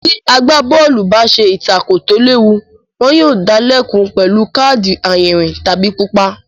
Tí agbábọ́ọ̀lù báse ìtakò tó léwu, wọn yóò dalẹ́kun pẹ̀lú káàdì àyìnrín tàbí pupa.